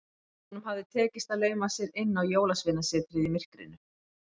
Honum hafði tekist að lauma sér inn á Jólasveinasetrið í myrkrinu.